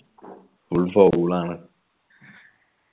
full foul ആണ്